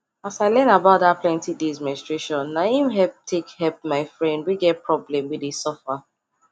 as i learn about that plenty days menstruationna him help take help my friend wey get problem wey dey suffer